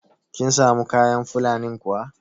Kin samu kayan Fulanin kuwa?